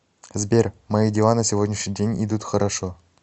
сбер мои дела на сегодняшний день идут хорошо